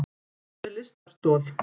Hvað er lystarstol?